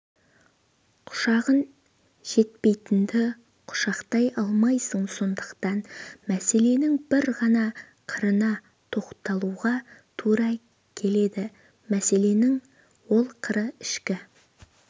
құшағың жетпейтінді құшақтай алмайсың сондықтан мәселенің бір ғана қырына тоқталуға тура келеді мәселенің ол қыры ішкі